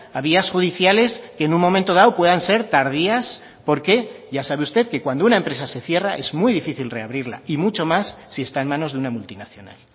a vías judiciales que en un momento dado puedan ser tardías porque ya sabe usted que cuando una empresa se cierra es muy difícil reabrirla y mucho más si está en manos de una multinacional